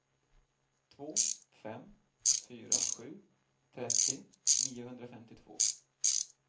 två fem fyra sju trettio niohundrafemtiotvå